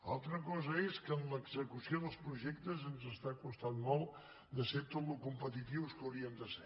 altra cosa és que en l’execució dels projectes ens està costant molt de ser tot el competitius que hauríem de ser